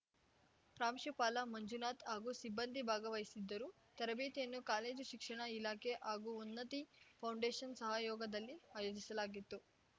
ಪ್ರಾಂಶುಪಾಲ ಮಂಜುನಾಥ್‌ ಹಾಗೂ ಸಿಬ್ಬಂದಿ ಭಾಗವಹಿಸಿದ್ದರು ತರಬೇತಿಯನ್ನು ಕಾಲೇಜು ಶಿಕ್ಷಣ ಇಲಾಖೆ ಹಾಗೂ ಉನ್ನತಿ ಫೌಂಡೇಶನ್‌ ಸಹಯೋಗದಲ್ಲಿ ಅಯೋಜಿಸಲಾಗಿತ್ತು